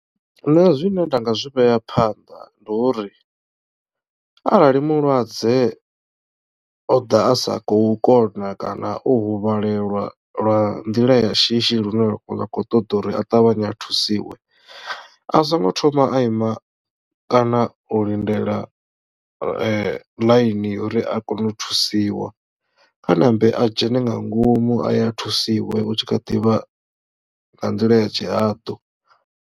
Nṋe zwine nda nga zwi vhea phanḓa ndi uri arali mulwadze o ḓa a sa khou kona kana o huvhalelwa lwa nḓila ya shishi lune lwa kho ṱoḓa uri a ṱavhanye a thusiwe a songo thoma a ima kana u lindela ḽaini uri a kone u thusiwa kha ṋambe a dzhene nga ngomu a ye a thusiwa u tshi kha ḓivha nga nḓila ya tshihadu.